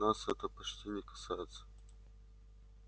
нас это почти не касается